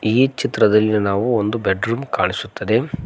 ಈ ಚಿತ್ರದಲ್ಲಿ ನಾವು ಒಂದು ಬೆಡ್ ರೂಮ್ ಕಾಣಿಸುತ್ತದೆ.